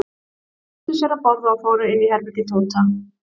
Þeir flýttu sér að borða og fóru inn í herbergi Tóta.